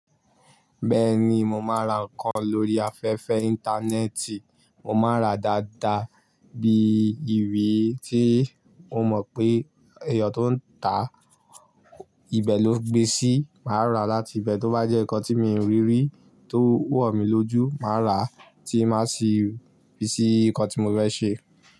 Bẹ́ẹ̀ni, mo máa ń ra nǹkan lórí afẹ́fẹ́ íńtánẹ́ẹ̀tì. Mo máa ń ra dáadáa bí irí tí mo máa pè èèyàn tó ń ta ibi ló gbésí máa ra láti bẹ̀. Tóbá jẹ́ nǹkan tí mi ò rí rí tó wọ̀ mí lójú, màá ra á tí màá sì fi sí ikọ́ tí mo fẹ́ ṣe.